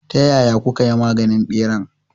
Ta yaya kukayi maganin ɓeran?